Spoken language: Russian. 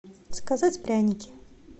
заказать пряники